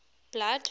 blood